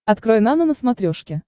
открой нано на смотрешке